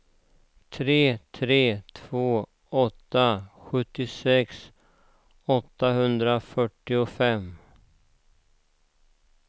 tre tre två åtta sjuttiosex åttahundrafyrtiofem